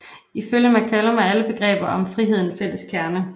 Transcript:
Ifølge McCallum har alle begreber om frihed en fælles kerne